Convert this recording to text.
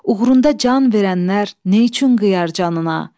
Uğrunda can verənlər neçün qıyar canına?